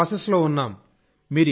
ఇంకా ప్రాసెస్ లో ఉన్నాం